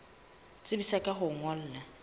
tsebisa ka ho o ngolla